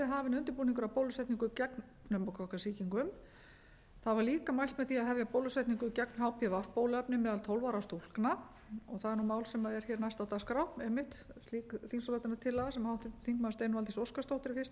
hafinn undirbúningur að bólusetning gegn pneumókokkasýkingum það var líka mælt með því að hefja bólusetningu gegn hpv bóluefni meðal tólf ára stúlkna og það er mál sem er hér næst á dagskrá einmitt þingsályktunartillaga sem háttvirtur þingmaður steinunn valdís óskarsdóttir er fyrsti flutningsmaður að en